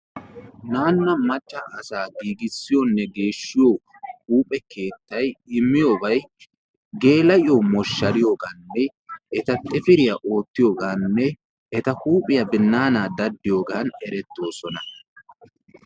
Naanu macca asaa giigisiyonne geshshiyoo huuphe keettay immiyoobay gel"iyoo moshshariyooganne eta xifiriyaa oottiyoganne etta huuphiyaa binnaanaa daddiyoogan erettoosona.